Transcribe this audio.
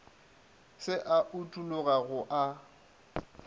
se a utologa go a